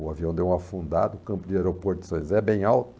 O avião deu um afundada, o campo de aeroporto de São José é bem alto.